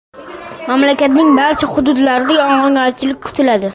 Mamlakatning barcha hududlarida yog‘ingarchilik kutiladi.